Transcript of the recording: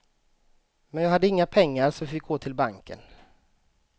Men jag hade inga pengar så vi fick gå till banken.